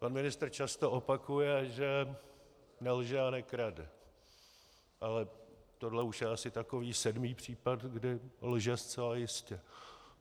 Pan ministr často opakuje, že nelže a nekrade, ale tohle už je asi takový sedmý případ, kdy lže zcela jistě.